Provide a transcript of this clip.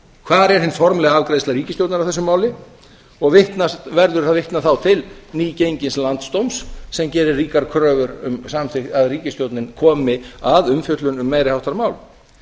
hvar er hin formlega afgreiðsla ríkisstjórnarinnar á þessu máli og verður að vitna þá til nýgengins l landsdóms sem gerir ríkar kröfur um að ríkisstjórnin komi að umfjöllun um meiri háttar mál